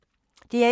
DR1